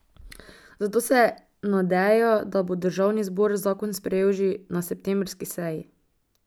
Zato se nadeja, da bo državni zbor zakon sprejel že na septembrski seji.